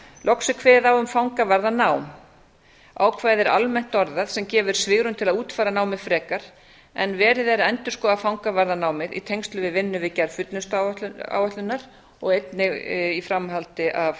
loks er kveðið á um fangavarðanám ákvæðið er almennt orðað sem gefur svigrúm til að útfæra námið frekar en verið er að endurskoða fangavarðanámið í tengslum við vinnu við gerð fullnustuáætlunar og einnig í framhaldi af